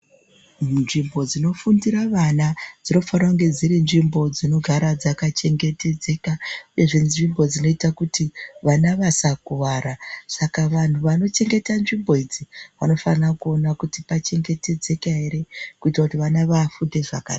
Nzvimbo dzinofundira vana dzinofanira kunge dziri nzvimbo dzinogara dzaka chengetedzeka uyezve nzvimbo dzinoita kuti vana vasa kuvara saka vanhu vanochengeta nzvimbo idzi vanofana kuona kuti pachengetedzeka here kuitira kuti vana vafunde zvakanaka.